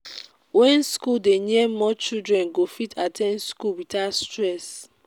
when school dey near more children go fit at ten d school without stress